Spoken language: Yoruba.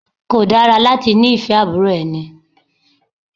Kò dára láti ní fẹ́ àbúrò ẹni.